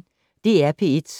DR P1